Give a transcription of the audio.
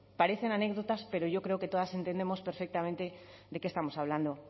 pues bueno parecen anécdotas pero yo creo que todas entendemos perfectamente de qué estamos hablando